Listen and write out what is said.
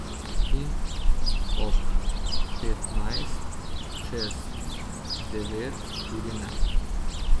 In ob petnajst čez devet tudi ne.